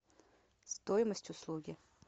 стоимость услуги